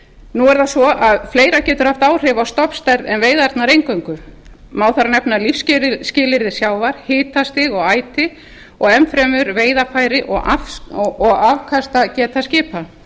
nú er það svo að fleira getur haft áhrif á stofnstærð en veiðarnar eingöngu má þar nefna lífsskilyrði sjávar hitastig og æti og enn fremur veiðarfæri og afkastageta skipa